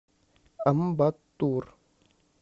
амбаттур